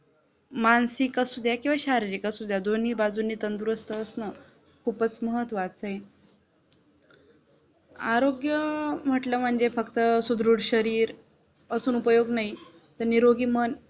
मानसिक असू द्या किंवा शारीरिक असू द्या दोन्ही बाजून तंदुरुस्त असणं खूपच महत्वाचा आहे आरोग्य म्हटलं म्हणजे फक्त सुदृढ शरीर असून उपयोग नाही, तर निरोगी मन